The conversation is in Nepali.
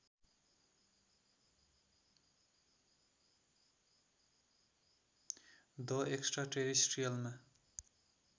the extra टेरेस्ट्रियलमा